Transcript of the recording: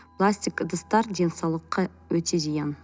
пластик ыдыстар денсаулыққа өте зиян